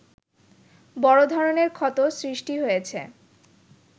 বড় ধরনের ক্ষত সৃষ্টি হয়েছে